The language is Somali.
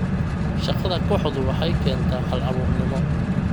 Shaqada kooxdu waxay keentaa hal-abuurnimo.